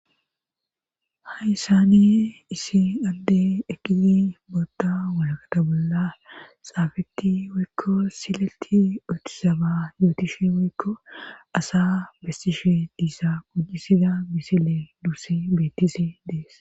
Hayissane isi adde ekizi bootta walaqata bolla xaafetti waykko sileti otisaba yootishe waykko asa bestishe diissa gojisida misile duusse beettisi dees.